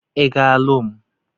Ị ga-alụ m?